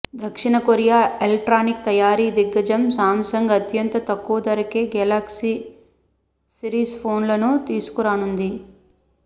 దక్షిణ Korea electronic తయారీ దిగ్గజం శాంసంగ్ అత్యంత తక్కువ ధరకే గెలాక్సీ సీరిస్ ఫోన్లను తీసుకురానుంది